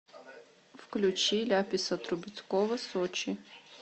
включи ляписа трубецкого сочи